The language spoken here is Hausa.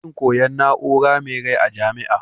Akwai dakin koyan na'urar me rai a jamia